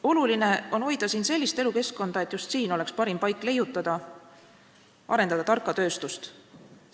Oluline on hoida siin sellist elukeskkonda, et just siin oleks parim paik leiutada ja tarka tööstust arendada.